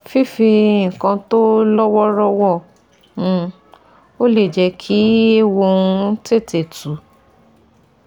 Fífi nǹkan tó lọ́ wọ́ọ́rọ wọ́ um ọ lè jẹ́ kí ééwo ń ó tètè tú